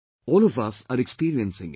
All of us are experiencing it